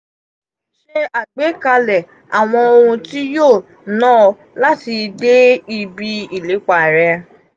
se agbekale awon ohun ti yoo naa o lati de ibi ilepa re.